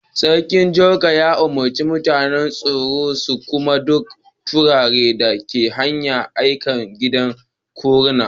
Sarkin Jako ya umurce masun tsaro su kama duk kutare da ke hanya a'kai su gidan kutare.